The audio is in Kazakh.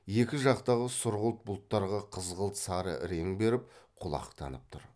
екі жақтағы сұрғылт бұлттарға қызғылт сары рең беріп құлақтанып тұр